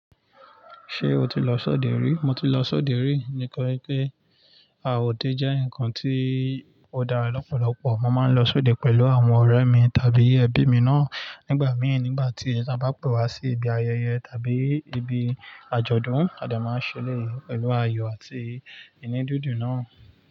Ṣé o ti lọ sóde rí? Mo ti lọ sóde rí. Nitori pé a òde jẹ́ nǹkan tí ó dára lọ́pọ̀lọpọ̀. Mo máa ń lọ sóde pẹ̀lú àwọn ọ̀rẹ́ mi tàbí ẹbí mi náà nígbà mìí nígbà tí a bá pe wá sí ibi ayẹyẹ tàbí ibi àjọ̀dún. A dẹ máa ń ṣe eleyii pẹ̀lú ayò àti ìnidídùn náà.